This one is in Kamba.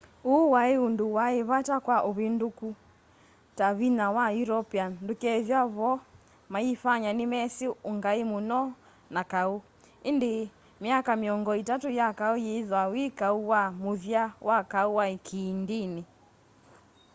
uu wai undu wai vata kwa uvinduku ta vinya wa european ndukethwaa vo mayifanya nimesi ungai muno na kau indi myaka miongo itatu ya kau yithwa wi kau wa muthya wa kau wa kiindini